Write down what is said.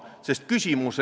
Hea eesistuja!